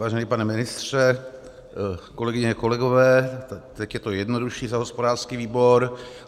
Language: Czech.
Vážený pane ministře, kolegyně, kolegové, teď je to jednodušší za hospodářský výbor.